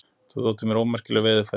Þetta þótti mér ómerkileg veiðiaðferð.